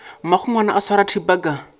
mmagongwana o swara thipa ka